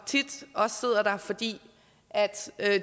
tit også sidder der fordi